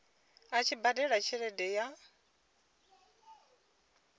a tshi badela tshelede ya